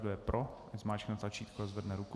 Kdo je pro, ať zmáčkne tlačítko a zvedne ruku.